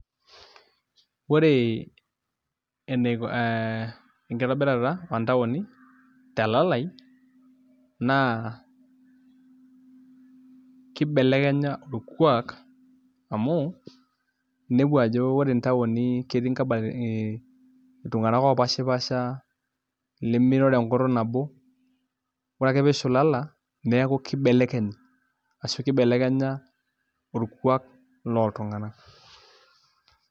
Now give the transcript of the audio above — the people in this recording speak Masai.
Ore ee enkitobirata oontaoni telalai naa kibelekenya orkuaak amu inepu ajo ore ntaoni ketii iltung'anak oopashipaasha ilemiroro enkutuk nabo ore ake pee ishulala neeku kibelekeny ashu kibelekenya orkuak loltung'anak.